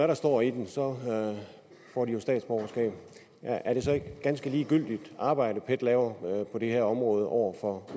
der står i den så får de jo statsborgerskab er det så ikke et ganske ligegyldigt arbejde pet laver på det her område over for